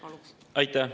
Aitäh!